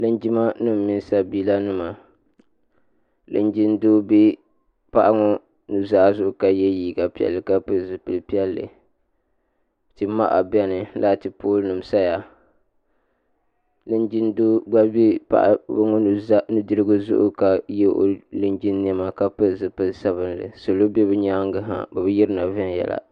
linjima nim mini sabiila nima linjin doo bɛ paɣa ŋɔ nuzaa zuɣu ka yɛ liiga piɛlli ka pili zipili piɛlli tia maha biɛni laati pool nim saya linjin doo gba bɛ paɣa ŋɔ nudirigu zuɣu ka yɛ linjin niɛma ka pili zipili sabinli salɔ bɛ bi nyaangi ha bi bi yirina viɛnyɛla